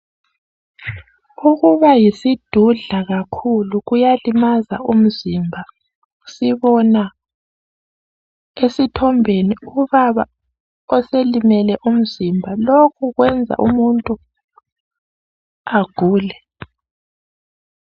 Ukubayisidudla kakhulu kuyalimaza umzimba. Sibona esithombeni ubaba oselimele umzimba. Lokhu kwenza umuntu agule.